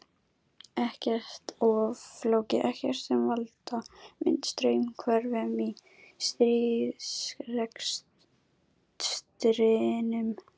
Ekkert of flókið, ekkert sem valda myndi straumhvörfum í stríðsrekstrinum.